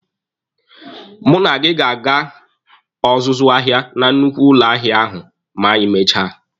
Mụ na gị ga-aga ọzụzụ ahịa na nnukwu ụlọ ahịa ahụ ma anyị mechaa.